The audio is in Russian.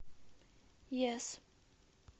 йес